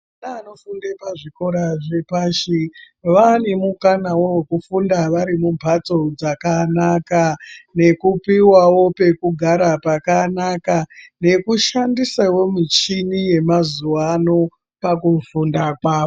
Ndeanofunda pazvikora zvepashi vane mukana wekufunda Ari mumbatso dzakanaka nekupiwawo pekugara pakanaka nekushandisawo michini yemazuva ano kufunda kwawo.